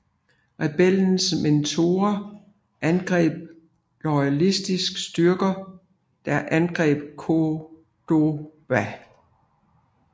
Rebellernes Meteorer angreb loyalistiske styrker der angreb Córdoba